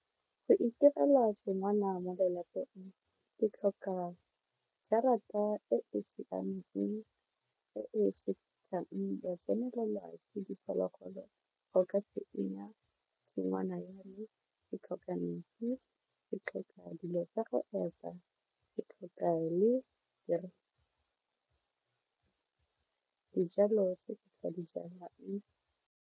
Go itirela tshingwana mo lelapeng ke tlhoka jarata e e siameng e e senang go tsenelelwa ka diphologolo go ka senya tshingwana ya me ke tlhoka metsi ke tlhoka dilo tsa go epa, ke tlhoka le dijalo tse ke sa di jalang.